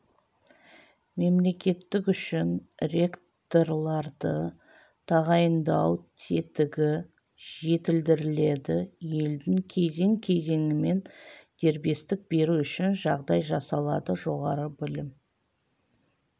мемлекеттік үшін ректорларды тағайындау тетігі жетілдіріледі елдің кезең-кезеңімен дербестік беру үшін жағдай жасалады жоғары білім